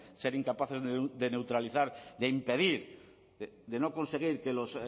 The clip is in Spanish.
ser incapaces de neutralizar de impedir de no conseguir que los